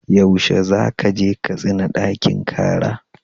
Yaushe za ka je Katsina ɗakin kara?